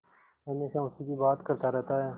हमेशा उसी की बात करता रहता है